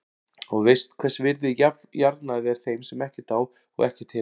Og veist hvers virði jarðnæði er þeim sem ekkert á og ekkert hefur.